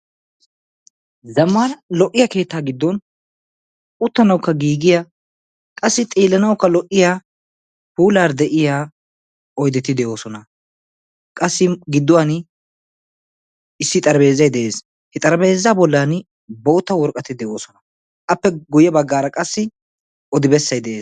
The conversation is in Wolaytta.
Zammaana lo'iya keettaa giddon uttanawukka giigiya qassi xeellanawukka lo'iya puulaara de'iya oyideti de'oosona. qassi gidduwaani issi xarapheezay de'es. He xarapheezaa bollan bootta woraqatati de'oosona. Appe guyye baggaara qassi odi bessay de'es.